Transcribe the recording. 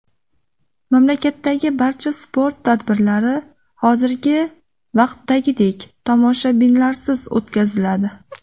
Mamlakatdagi barcha sport tadbirlari hozirgi vaqtdagidek tomoshabinlarsiz o‘tkaziladi.